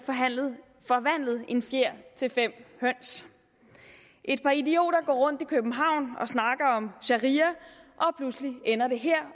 forvandlet en fjer til fem høns et par idioter går rundt i københavn og snakker om sharia og pludselig ender det her